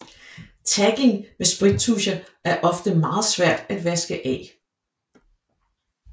Tagging med sprittuscher er ofte meget svært at vaske af